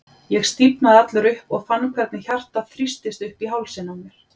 Ég stífnaði allur upp og fann hvernig hjartað þrýstist upp í hálsinn á mér.